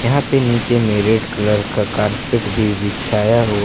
यहाँ पे नीचे में रेड कलर का कारपेट भी बिछाया हुआ--